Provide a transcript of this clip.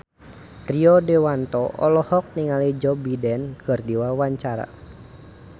Rio Dewanto olohok ningali Joe Biden keur diwawancara